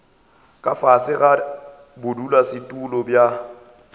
ka fase ga bodulasetulo bja